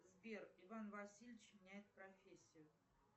сбер иван васильевич меняет профессию